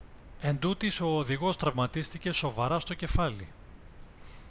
εντούτοις ο οδηγός τραυματίστηκε σοβαρά στο κεφάλι